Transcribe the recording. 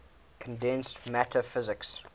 condensed matter physics